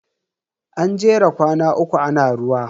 An jera kwana uku ana ruwa.